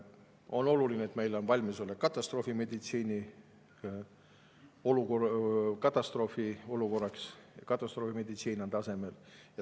On oluline, et meil on valmisolek katastroofiolukorraks, et katastroofimeditsiin on tasemel.